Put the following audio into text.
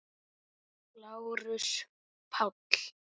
LÁRUS: Páll!